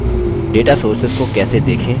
data sources data sources को कैसे देखें